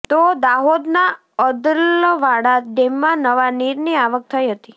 તો દાહોદના અદલવાડા ડેમમાં નવા નીરની આવક થઈ હતી